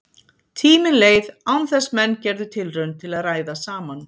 Tíminn leið án þess menn gerðu tilraun til að ræða saman.